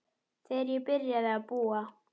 Þegar ég byrjaði að búa.